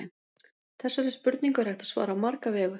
þessari spurningu er hægt að svara á marga vegu